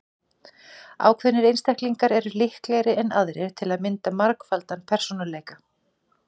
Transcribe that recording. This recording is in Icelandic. Ákveðnir einstaklingar eru líklegri en aðrir til að mynda margfaldan persónuleika.